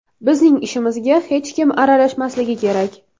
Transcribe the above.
Bizning ishimizga hech kim aralashmasligi kerak.